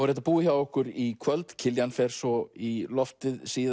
er þetta búið hjá okkur í kvöld Kiljan fer svo í loftið síðar